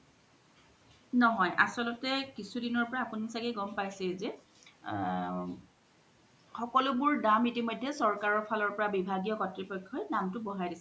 নহয় আচ্ল্তে কিছু দিনৰ পৰা আপুনি চাগে গম পাইছে জে অ সকলোবোৰৰ দাম ইতিমইধে চকাৰ ফালৰ পৰা বিভাগিও কত্ৰিপ্ৰত্যোই দামতো বঢ়াই দিছে